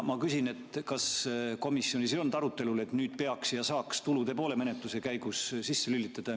Ma küsin, kas komisjonis ei olnud arutelul, et nüüd peaks ja saaks ka tulude poole menetluse käigus sisse lülitada.